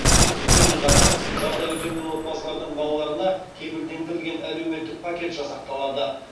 сонымен қатар жағдайы төмен отбасылардың балаларына кепілдендірілген әлеуметтік пакет жасақталады